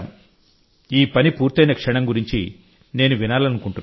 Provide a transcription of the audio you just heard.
ఈ పని పూర్తయిన క్షణం గురించి నేను వినాలనుకుంటున్నాను